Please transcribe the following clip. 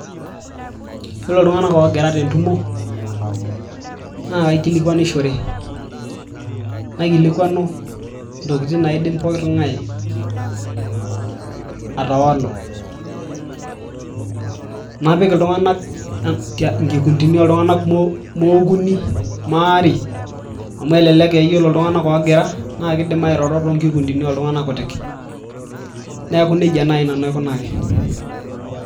Yiolo iltung'anak oogira tentumo naa kaikilikwanishore naikilikwanu intokitin naidim pooki tung'ani atawalu napik iltung'anak inkikundini oo oltung'anak kumok mookuni maare amu elelek aa ore iltung'anak oogira naa keidim airoro toonkikundini ooltung'anak kutik neeku nejia naaji nanu aikunaki.